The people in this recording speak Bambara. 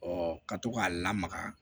Ɔ ka to k'a lamaga